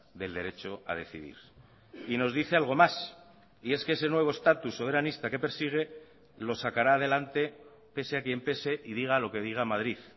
del derecho a decidir y nos dice algo más y es que ese nuevo estatus soberanista que persigue lo sacará adelante pese a quien pese y diga lo que diga madrid